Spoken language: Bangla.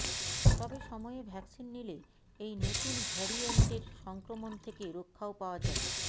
তবে সময়ে ভ্যাকসিন নিলে এই নতুন ভ্যারিয়েন্টের সংক্রমণ থেকে রক্ষাও পাওয়া যায়